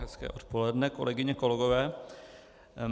Hezké odpoledne, kolegyně, kolegové.